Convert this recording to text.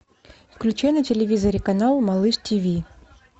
включи на телевизоре канал малыш тв